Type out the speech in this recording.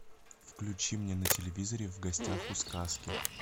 включи мне на телевизоре в гостях у сказки